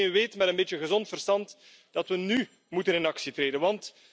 Maar iedereen met een beetje gezond verstand weet dat we nú actie moeten ondernemen.